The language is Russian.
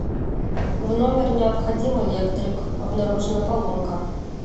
в номер необходим электрик обнаружена поломка